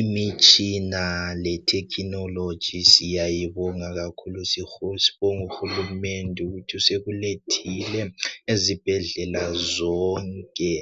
Imitshina le technology siyayibonga kakhulu sibonga uhulumende ukuthi usekulethile ezibhendlela zonke